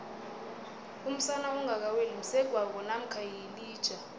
umsana ongaka weli msegwabo mamkha yilija